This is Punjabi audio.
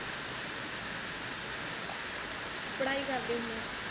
ਪੜਾਈ ਕਰਦੇ ਹੁੰਦੇ ਐ